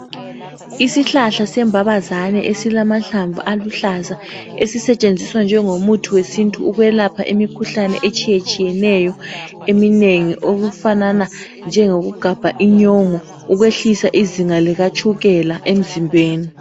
Isihlahla sembabazane esilamahlamvu aluhlaza esisetshenziswa njengomuthi wesintu ukwelapha imikhuhlane etshiyetshiyeneyo eminengi okufanana njengokugabha inyongo ukwehlisa izinga likatshukela emzimbeni.